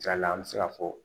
Saliya la an bɛ se ka fɔ